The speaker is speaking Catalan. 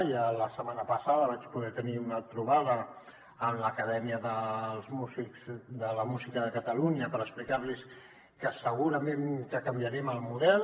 ja la setmana passada vaig poder tenir una trobada amb l’acadèmia catalana de la música per explicar los que segurament canviarem el model